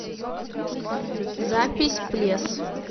запись плес